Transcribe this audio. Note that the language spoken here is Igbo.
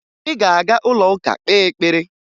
Ị ga-aga ụlọụka kpee ekpere!